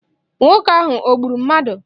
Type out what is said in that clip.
Nwoke ahụ o gburu mmadụ?